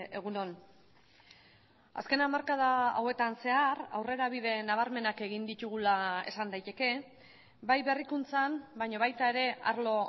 egun on azken hamarkada hauetan zehar aurrerabide nabarmenak egin ditugula esan daiteke bai berrikuntzan baina baita ere arlo